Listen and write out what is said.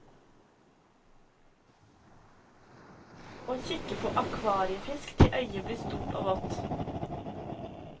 Og kikke på akvariefisk til øyet ble stort og vått.